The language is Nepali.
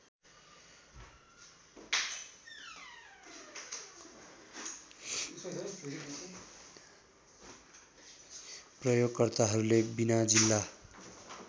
प्रयोगकर्ताहरूले बिना जिल्ला